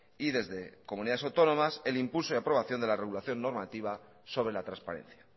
y desde comunidades autónomas el impulso y aprobación de la regulación normativa sobre la transparencia